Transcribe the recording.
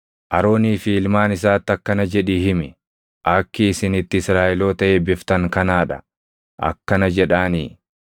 “Aroonii fi ilmaan isaatti akkana jedhii himi; ‘Akki isin itti Israaʼeloota eebbiftan kanaa dha. Akkana jedhaanii: